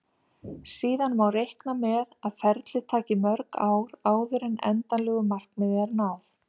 Síðan má reikna með að ferlið taki mörg ár áður en endanlegu markmiði er náð.